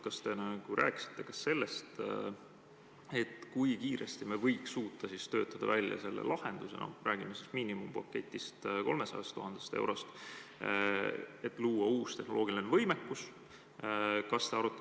Kas te rääkisite ka sellest, kui kiiresti me võiks suuta välja töötada selle lahenduse, mis maksab miinimumpaketina 300 000 eurot, et luua uus tehnoloogiline võimekus?